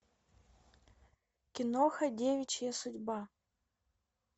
киноха девичья судьба